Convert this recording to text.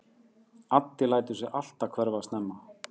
Addi lætur sig alltaf hverfa snemma.